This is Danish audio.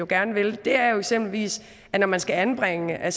gerne vil er jo eksempelvis at når man skal anbringe er